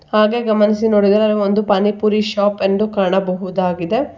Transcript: ಹಾಗೆ ಗಮನಿಸಿ ನೋಡಿದರೆ ಒಂದು ಪಾನಿ ಪೂರಿ ಶಾಪ್ ಎಂದು ಕಾಣಬಹುದಾಗಿದೆ.